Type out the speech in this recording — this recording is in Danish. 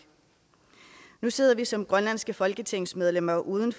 nu sidder vi som grønlandske folketingsmedlemmer uden